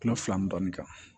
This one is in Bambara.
Kulo fila ni dɔɔnin kan